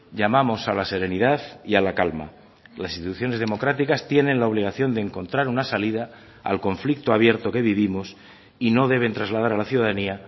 llamamos a la serenidad y a la calma las instituciones democráticas tienen la obligación de encontrar una salida al conflicto abierto que vivimos y no deben trasladar a la ciudadanía